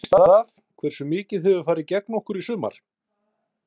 Veistu það, hversu mikið hefur farið gegn okkur í sumar?